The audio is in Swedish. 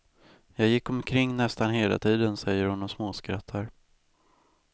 Jag gick omkring nästan hela tiden, säger hon och småskrattar.